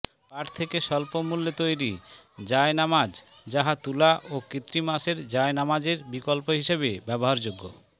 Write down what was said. পাট থেকে স্বল্প মূল্যে তৈরী জায়নামায যাহা তুলা ও কৃত্রিম আঁশের জায়নামাজের বিকল্প হিসাবে ব্যবহারযোগ্য